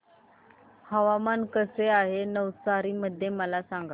हवामान कसे आहे नवसारी मध्ये मला सांगा